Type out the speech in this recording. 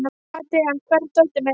Adrian, hvar er dótið mitt?